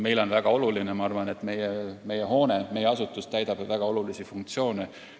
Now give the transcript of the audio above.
Meile on praegune valik tähtis, sest meie hoone, meie asutus täidab väga olulisi funktsioone.